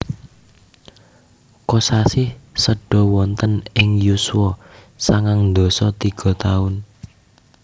Kosasih seda wonten ing yuswa sangang dasa tiga taun